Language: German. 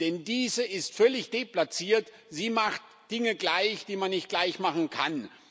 Denn diese ist völlig deplatziert, sie macht Dinge gleich, die man nicht gleichmachen kann.